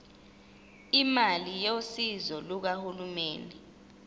imali yosizo lukahulumeni